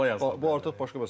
Bu artıq başqa məsələdir.